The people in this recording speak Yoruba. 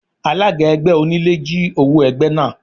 Alága ẹgbẹ́ onílé jí owó ẹgbẹ́ náà.